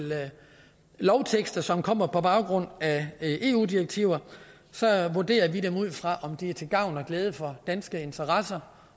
lovtekster som kommer på baggrund af eu direktiver så vurderer vi dem ud fra om de er til gavn og glæde for danske interesser